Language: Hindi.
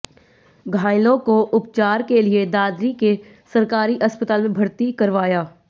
घायलों को उपचार के लिएदादरी के सरकारी अस्पताल में भर्ती करवाया